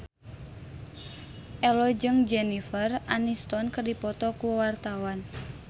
Ello jeung Jennifer Aniston keur dipoto ku wartawan